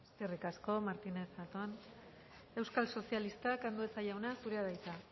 eskerrik asko martínez zatón euskal sozialistak andueza jauna zurea da hitza